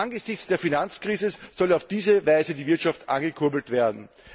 Angesichts der Finanzkrise solle auf diese Weise die Wirtschaft angekurbelt werden.